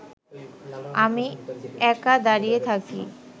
আমি একা দাঁড়িয়ে থাকি